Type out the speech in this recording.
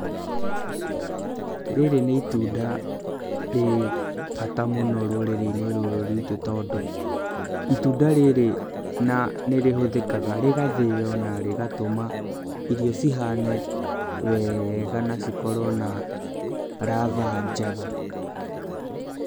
Rĩrĩ nĩ itunda rĩ bata mũno rũrĩrĩ-inĩ rũrũ rwitũ tondũ itunda rĩrĩ na nĩ rĩhũthĩkaga, rĩgathĩo na rĩgatũma irio cihane wega na cikorwo na ratha njega.